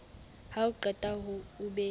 ha o qeta o be